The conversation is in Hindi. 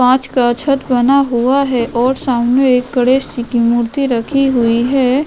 पांच का छत बना हुआ है और सामने एक गणेश जी की मूर्ति रखी हुई है।